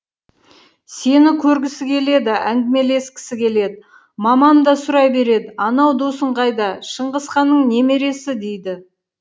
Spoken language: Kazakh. сені көргісі келеді әңгімелескісі келеді мамам да сұрай береді анау досың қайда шыңғысханның немересі дейді